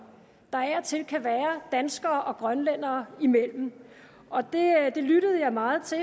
der af og til kan være danskere og grønlændere imellem det lyttede jeg meget til